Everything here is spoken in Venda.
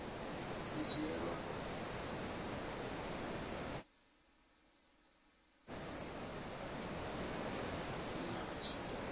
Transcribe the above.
tea u dzhielwa nha tshi